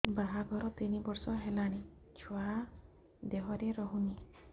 ବାହାଘର ତିନି ବର୍ଷ ହେଲାଣି ଛୁଆ ଦେହରେ ରହୁନି